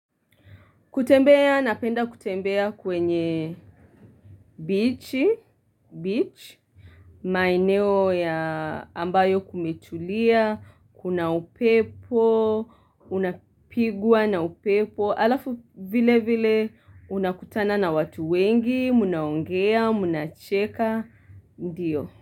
Kutembea, napenda kutembea kwenye bichi, beach, maeneo ya ambayo kumetulia, kuna upepo, unapigwa na upepo, alafu vile vile unakutana na watu wengi, munaongea, muna cheka, ndiyo.